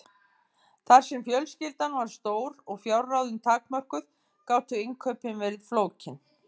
Þar sem fjölskyldan var stór og fjárráðin takmörkuð gátu innkaupin verið flókin.